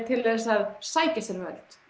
til þess að sækja sér völd